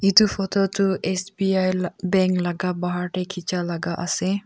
eto photo toh S_B_I la bank laga pahar teh kechia laga ase.